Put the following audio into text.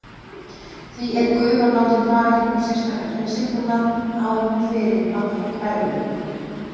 Því er gufan látin fara gegnum sérstakan hreinsibúnað áður en hún fer inn á hverfilinn.